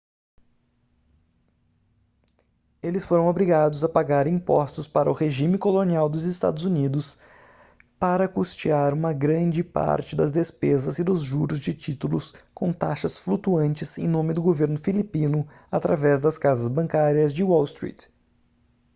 eles foram obrigados a pagar impostos para o regime colonial dos eua para custear uma grande parte das despesas e dos juros de títulos com taxas flutuantes em nome do governo filipino através das casas bancárias de wall street